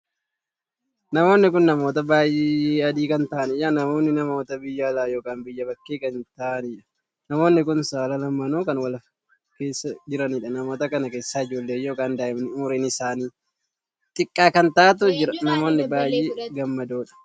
Namoonni kun namoota baay'ee adii kan ta'aaniidha. namoonni namoota biyya alaa ykn biyya bakkee kan ta'aaniidha. namoonni kun saala lamaanuun kan wal keessa kan jiraniidha. namoota kana keessa ijoollee ykn daa'imni umuriin isaanii xiqqaa kan taa'aatu jira. namoonni baay'ee gammadoodha.